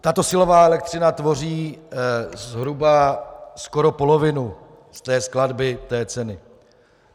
Tato silová elektřina tvoří zhruba skoro polovinu z té skladby té ceny.